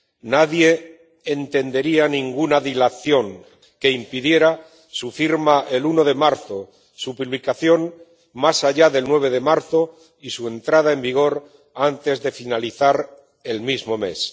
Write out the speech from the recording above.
Nadie entendería ninguna dilación que impidiera su firma el 1 de marzo, su publicación más allá del 9 de marzo y su entrada en vigor antes del final del mismo mes.